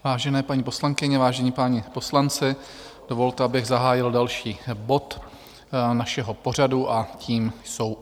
Vážené paní poslankyně, vážení páni poslanci, dovolte, abych zahájil další bod našeho pořadu, a tím jsou